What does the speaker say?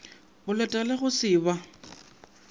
boleta le go se ba